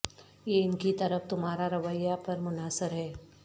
یہ ان کی طرف تمہارا رویہ پر منحصر ہے